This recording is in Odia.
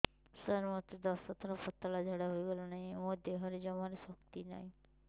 ସାର ମୋତେ ଦଶ ଥର ପତଳା ଝାଡା ହେଇଗଲାଣି ମୋ ଦେହରେ ଜମାରୁ ଶକ୍ତି ନାହିଁ